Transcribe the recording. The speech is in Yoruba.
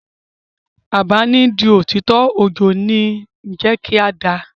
Àbá ni n di òtítọ́, ojo ni ó kín jẹ́ ká da.